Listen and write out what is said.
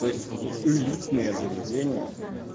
то есть в элитное заведения